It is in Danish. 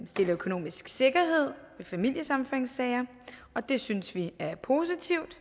stiller økonomisk sikkerhed ved familiesammenføringssager og det synes vi er positivt